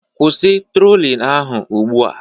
Kwụsị trolling ahụ ugbu a